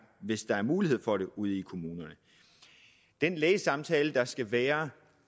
hvis der er mulighed for det ude i kommunerne den lægesamtale der skal være